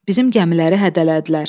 Bizim gəmiləri hədələdilər.